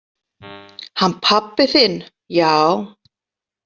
Hann pabbi þinn, já.